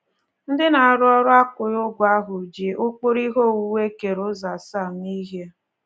Ndị na-arụ ọrụ akwụghị ụgwọ ahụ ji ụkpụrụ ihe owuwu e kere ụzọ asaa mee ihe.